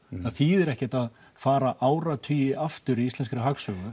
það þýðir ekkert að fara áratugi aftur í íslenskri hagsögu